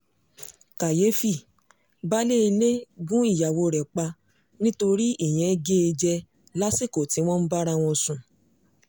kàyééfì baálé ilé gún ìyàwó rẹ̀ pa nítorí tí ìyẹn gé e jẹ lásìkò tí wọ́n ń bára wọn sùn